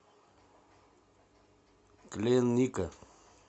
клинника